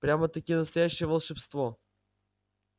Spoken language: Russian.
прямо-таки настоящее волшебство